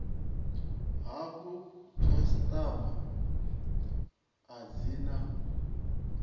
hafhu khasitama a dzi na